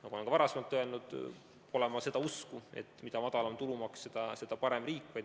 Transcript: Ma olen ka varem öelnud, et ma pole seda usku, et mida madalam tulumaks, seda parem riik.